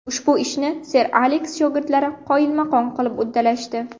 Ushbu ishni Ser Aleks shogirdlari qoyilmaqom qilib uddalashdi.